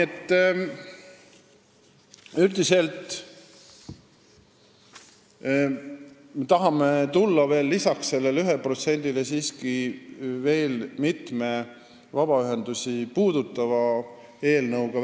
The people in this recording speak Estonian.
Üldiselt me tahame lisaks sellele 1% seadusele tulla välja veel mitme vabaühendusi puudutava eelnõuga.